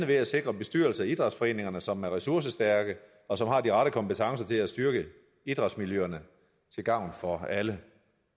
ved at sikre bestyrelser i idrætsforeningerne som er ressourcestærke og som har de rette kompetencer til at styrke idrætsmiljøerne til gavn for alle